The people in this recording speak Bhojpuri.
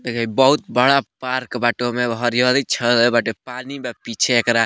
बहुत बड़ा पार्क बाटे ओय में हरियाली छाएले बाटे पानी बा पीछे।